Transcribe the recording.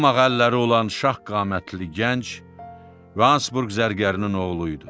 Dum ağ əlləri olan şah qamətli gənc Hasburq zərgərinin oğlu idi.